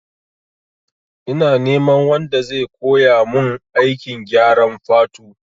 Ina neman wanda zai koya mun aikin gyaran fatu